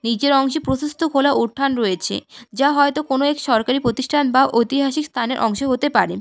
নিচের অংশে প্রশস্থ খোলা উঠান রয়েছে যা হয়ত কোন এক সরকারি প্রতিষ্ঠান বা ঐতিহাসিক স্থান এর অংশ হতে পারে।